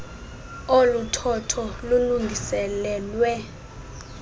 olu thotho lulungiselelwe